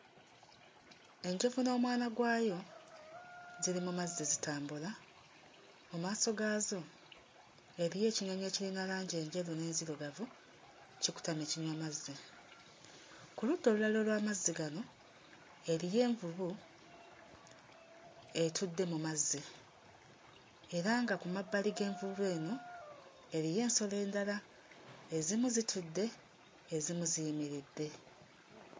Enjovu n'omwana gwayo ziri mu mazzi zitambula, mu maaso gaazo eriyo ekinyonyi ekirina langi enjeru n'ezirugavu, kikutamye kinywa mazzi. Ku ludda olulala olw'amazzi gano eriyo envubu etudde mu mazzi era nga ku mabbali g'envubu eno eriyo ensolo endala; ezimu zitudde, ezimu ziyimiridde.